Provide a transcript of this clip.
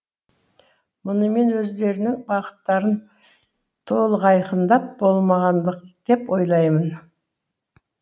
мұны мен өздерінің бағыттарын толық айқындап болмағандық деп ойлаймын